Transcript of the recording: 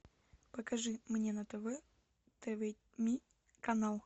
покажи мне на тв тв ми канал